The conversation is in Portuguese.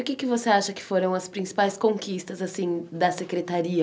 E o que é que você acha que foram as principais conquistas, assim, da secretaria?